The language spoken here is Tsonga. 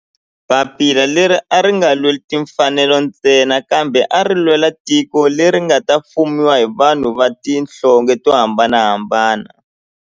Papila leri a ri nga lweli timfanelo ntsena kambe ari lwela tiko leri nga ta fumiwa hi vanhu va tihlonge to hambanahambana.